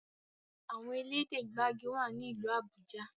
Àwọn elédè gbagi wá ní ilú Abuja.